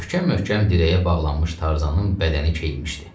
Möhkəm-möhkəm dirəyə bağlanmış Tarzanın bədəni keyinmişdi.